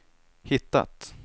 hittat